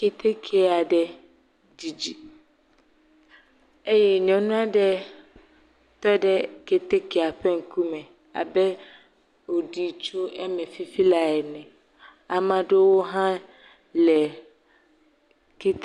Keteke aɖe dzidzi eye nyɔnu aɖe tɔɖe ketekea ƒe ŋkume abe woɖi tso eme fifi la ene ame aɖewo le ketekea me